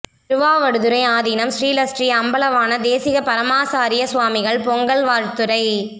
திருவாவடுதுறை ஆதீனம் ஸ்ரீலஸ்ரீ அம்பலவாண தேசிக பரமாசாரிய சுவாமிகள் பொங்கல் வாழ்த்துரை